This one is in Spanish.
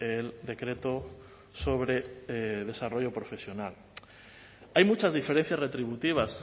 el decreto sobre desarrollo profesional hay muchas diferencias retributivas